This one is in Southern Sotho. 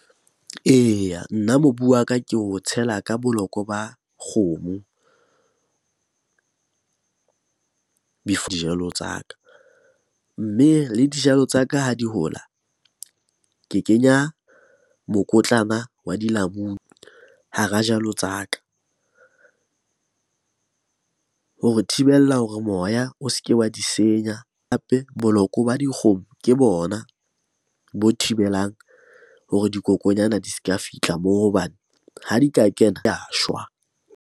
Eya, nna mobu wa ka ke o tshela ka bolokwe ba kgomo dijalo tsa ka. Mme le dijalo tsa ka ha di hola, ke kenya mokotlana wa dilamunu hara jalo tsa ka hore thibella hore moya o se ke wa di senya. Hape boloko ba dikgomo ke bona bo thibelang hore dikokonyana di se ka fihla moo hobane ha di ka kena shwa.